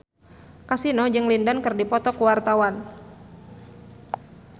Kasino jeung Lin Dan keur dipoto ku wartawan